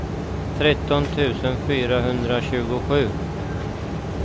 tretton tusen fyrahundratjugosju